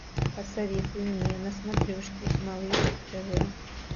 посоветуй мне на смотрешке малыш тв